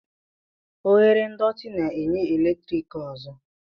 Oghere ndọtị na-enye eletrik ọzọ.